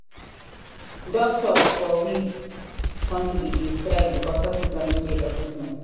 Doctors for we country dey strike because hospitals no get equipment.